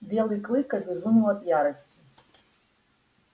белый клык обезумел от ярости